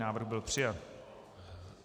Návrh byl přijat.